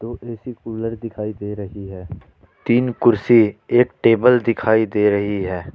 AC cooler दिखाई दे रही है तीन कुर्सी एक टेबल दिखाई दे रही है।